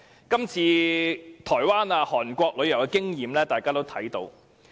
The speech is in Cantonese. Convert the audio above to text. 今次台灣和韓國旅遊業的經驗，大家有目共睹。